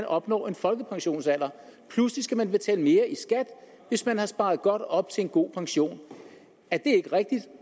og opnår en folkepensionsalder pludselig skal man betale mere i skat hvis man har sparet godt op til en god pension er det ikke rigtigt